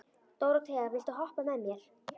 Dóróthea, viltu hoppa með mér?